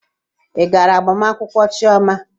Ị gaara agbamakwụkwọ Chioma?